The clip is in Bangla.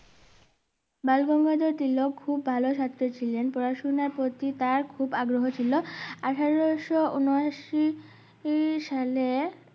বালগঙ্গাধর তিলক খুব ভালো ছাত্র ছিলেন পড়াশোনার প্রতি তার খুব আগ্রহ ছিল আঠারোশো উনো আশি সালে